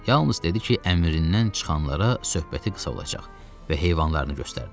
Yalnız dedi ki, əmrindən çıxanlara söhbəti qısa olacaq və heyvanlarını göstərdi.